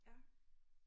Ja